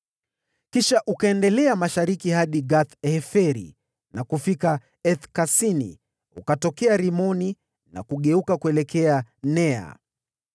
Kisha ukaendelea mashariki hadi Gath-Heferi na kufika Eth-Kasini, ukatokea Rimoni na kugeuka kuelekea Nea.